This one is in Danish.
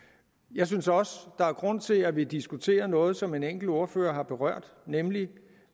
jeg synes også der er grund til at vi diskuterer noget som en enkelt ordfører har berørt nemlig